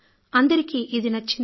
అందరికీ ఇది నచ్చింది